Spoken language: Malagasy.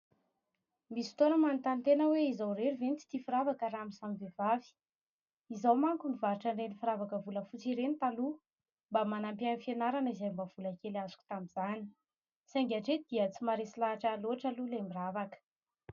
Misy fotoana aho manontany tena hoe: izaho irery ve no tsy tia firavaka raha amin'ny samy vehivavy? Izaho manko nivarotra ireny firavaka volafotsy ireny taloha. Mba manampy ahy amin'ny fianarana izay mba vola kely azoko tamin'izany, saingy hatreto dia tsy maharesy lahatra ahy loatra aloha ilay miravaka.